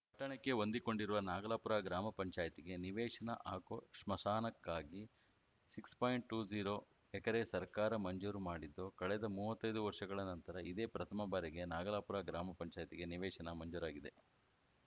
ಪಟ್ಟಣಕ್ಕೆ ಹೊಂದಿಕೊಂಡಿರುವ ನಾಗಲಾಪುರ ಗ್ರಾಮ ಪಂಚಾಯತ್ ಗೆ ನಿವೇಶನ ಹಾಗೂ ಸ್ಮಶಾನಕ್ಕಾಗಿ ಸಿಕ್ಸ್ ಪಾಯಿಂಟ್ ಟು ಝೀರೋ ಎಕರೆ ಸರ್ಕಾರ ಮಂಜೂರು ಮಾಡಿದ್ದು ಕಳೆದ ಮೂವತ್ತೈದು ವರ್ಷಗಳ ನಂತರ ಇದೇ ಪ್ರಥಮ ಬಾರಿಗೆ ನಾಗಲಾಪುರ ಗ್ರಾಮ ಪಂಚಾಯತ್ ಗೆ ನಿವೇಶನ ಮಂಜೂರಾಗಿದೆ